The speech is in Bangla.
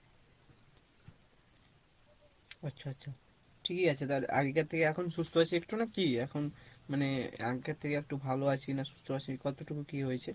আচ্ছা আচ্ছা ঠিকই আছে আগেকার থেকে এখন সুস্থ আছিস একটু না কী এখন মানে আগেকার থেকে একটু ভালো আছিস না সুস্থ আছিস কতটুকু কী হয়েছে?